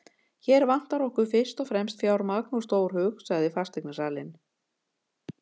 Hér vantar okkur fyrst og fremst fjármagn og stórhug, sagði fasteignasalinn.